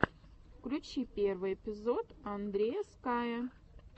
включи первый эпизод андрея скайя